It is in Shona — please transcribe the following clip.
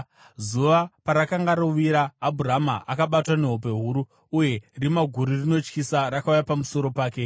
Zuva parakanga rovira, Abhurama akabatwa nehope huru, uye rima guru rinotyisa rakauya pamusoro pake.